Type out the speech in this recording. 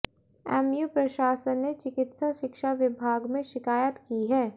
MU प्रशासन ने चिकित्सा शिक्षा विभाग में शिकायत की है